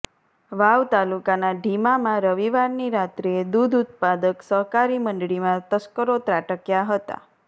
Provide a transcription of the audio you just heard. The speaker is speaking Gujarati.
વાવ તાલુકાના ઢીમામાં રવિવારની રાત્રીએ દૂધ ઉત્પાદક સહકારી મંડળીમાં તસ્કરો ત્રાટકયા હતા